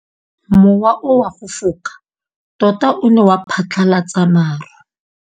Mowa o wa go foka tota o ne wa phatlalatsa maru.